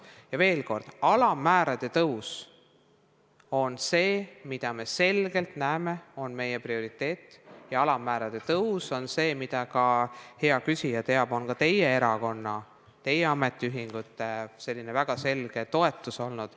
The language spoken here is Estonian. Ja veel kord, alamäära tõus on see, mida näeme selgelt oma prioriteedina, ja alammäära tõus on see, mida – ka hea küsija teab – on teiegi erakond, teie ametiühingud väga selgelt toetanud.